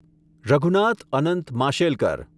Raghunath Anant Mashelkar